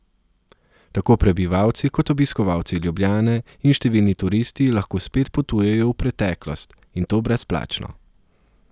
Tako prebivalci kot obiskovalci Ljubljane in številni turisti lahko spet potujejo v preteklost, in to brezplačno.